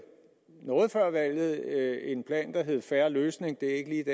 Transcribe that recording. noget før valget en plan der hed en fair løsning det